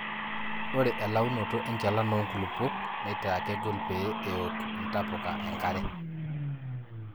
ore elaunoto enchalan oo nkulupuok neitaa kegol pee eouk intapuka enkare